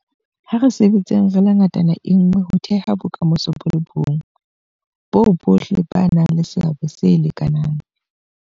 A re sebetseng re le ngatana nngwe ho theha bokamoso bo le bong boo bohle ba nang le seabo se lekanang.